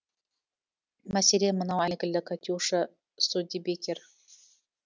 мәселен мынау әйгілі катюша студебекер